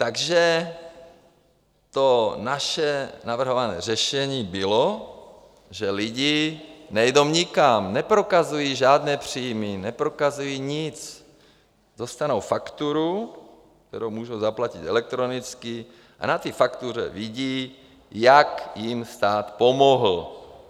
Takže to naše navrhované řešení bylo, že lidi nejdou nikam, neprokazují žádné příjmy, neprokazují nic, dostanou fakturu, kterou můžou zaplatit elektronicky, a na té faktuře vidí, jak jim stát pomohl.